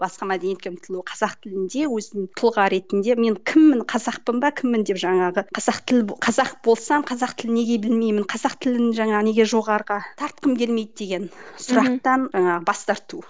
басқа мәдениетке ұмтылу қазақ тілінде өзін тұлға ретінде мен кіммін қазақпын ба кіммін деп жаңағы қазақ тілі қазақ болсаң қазақ тілін неге білмеймін қазақ тілін жаңа неге жоғарыға тартқым келмейді деген сұрақтан ы бас тарту